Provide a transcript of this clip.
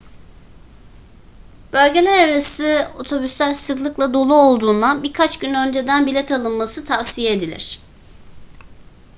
bölgelerarası otobüsler sıklıkla dolu olduğundan birkaç gün önceden bilet alınması tavsiye edilir